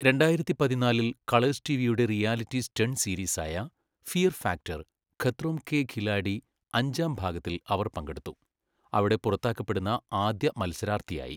രണ്ടായിരത്തി പതിനാലിൽ കളേഴ്സ് ടിവിയുടെ റിയാലിറ്റി സ്റ്റണ്ട് സീരീസായ ഫിയർ ഫാക്ടർ, ഖത്രോം കെ ഖിലാഡി അഞ്ചാം ഭാഗത്തിൽ അവർ പങ്കെടുത്തു, അവിടെ പുറത്താക്കപ്പെടുന്ന ആദ്യ മത്സരാർത്ഥിയായി.